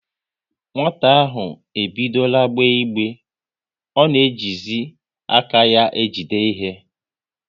Nwata ahụ ebidora gbe igbe, ọ na ejizi aka ya ejide ihe